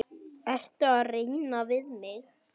Ertu að reyna við mig?